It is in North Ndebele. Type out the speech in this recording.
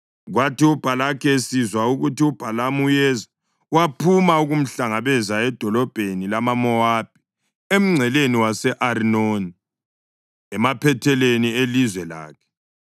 Kwathi uBhalaki esizwa ukuthi uBhalamu uyeza, waphuma ukumhlangabeza edolobheni lamaMowabi emngceleni wase-Arinoni emaphethelweni elizwe lakhe.